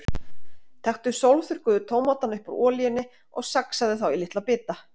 Taktu sólþurrkuðu tómatana upp úr olíunni og saxaðu þá í litla bita.